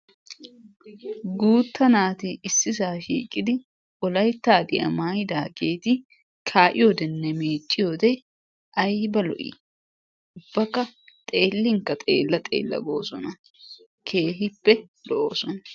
Guuta naati issisa shhiqid Wolayttahaddiyaa maayyidaageetinne miicciyoode aybba lo''i! ubbakka xeellinkka xeella xeella goosona. keehippe lo''oosona.